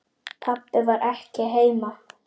Pabbi var ekki heima.